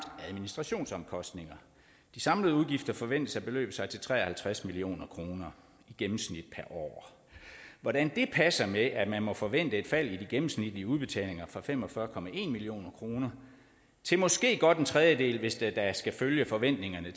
administrationsomkostninger de samlede udgifter forventes at beløbe sig til tre og halvtreds million kroner i gennemsnit per år hvordan det passer med at man må forvente et fald i de gennemsnitlige udbetalinger fra fem og fyrre million kroner til måske godt en tredjedel hvis det da skal følge forventningerne